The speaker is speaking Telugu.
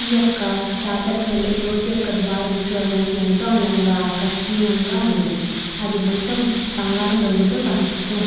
ఈ ఒక జాతర వెళ్లి చోటుకు వెళ్లే ద్వారము చుడటానికి ఏంటో అందంగా ఎంతో ఆకర్షిణీయంగా ఉంది. అది మొత్తం బంగారం రంగుతో కనిపిస్తున్నది.